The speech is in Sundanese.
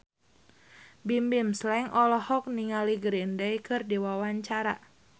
Bimbim Slank olohok ningali Green Day keur diwawancara